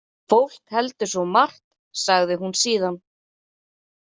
Fólk heldur svo margt, sagði hún síðan.